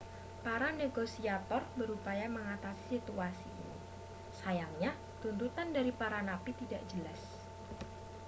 para negosiator berupaya mengatasi situasi ini sayangnya tuntutan dari para napi tidak jelas